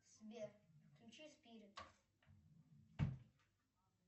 сбер включи спирит